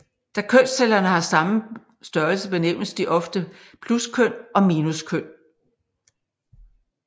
Da kønscellerne har samme størrelse benævnes de ofte pluskøn og minuskøn